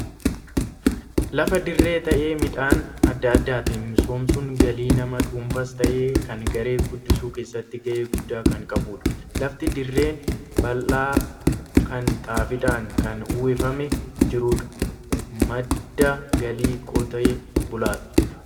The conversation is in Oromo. Lafa dirree ta'e midhaan adda addaatiin misoomsuun galii nama dhuunfaas ta'e kan garee guddisuu keessatti gahee guddaa kan qabudha. Lafti dirreen bal'aan kun xaafiidhaan kan uwwifamee jirudha. Madda galii qotee bulaati.